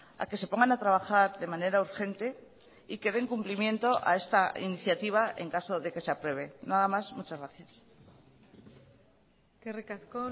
a que se pongan a trabajar de manera urgente y que den cumplimiento a esta iniciativa en caso de que se apruebe nada más muchas gracias eskerrik asko